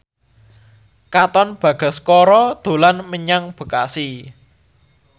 Katon Bagaskara dolan menyang Bekasi